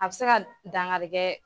A bɛ se ka dankarikɛ